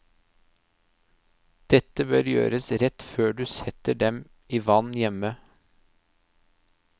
Dette bør gjøres rett før du setter dem i vann hjemme.